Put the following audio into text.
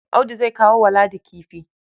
Audu zai kawo wa Ladi kifi.